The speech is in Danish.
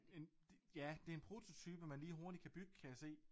En ja det en prototype man lige hurtigt kan bygge kan jeg se